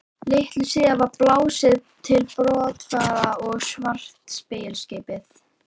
Litlu síðar var blásið til brottfarar og svarta seglskipið